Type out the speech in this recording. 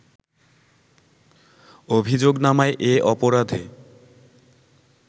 অভিযোগনামায় এ অপরাধে